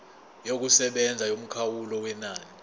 yokusebenza yomkhawulo wenani